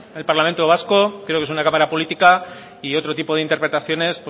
es el parlamento vasco creo que es una cámara política y otro tipo de interpretaciones